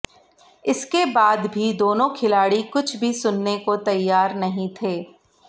इसके बाद भी दोनों खिलाडी कुछ भी सुनने को तैयार नहीं थे